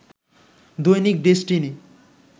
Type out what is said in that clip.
Dainik Destiny